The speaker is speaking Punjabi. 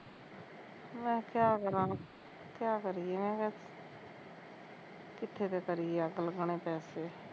ਮੈਂ ਕਿਆ ਕਰਾ, ਕਿਆ ਕਰੀਏ ਮੈਂ ਕਿਹਾਂ ਕਿੱਥੇ ਤੇ ਕਰੀਏ ਅੱਗ ਲੱਗਣੇ ਪੈਸੇ